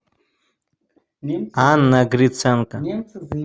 анна гриценко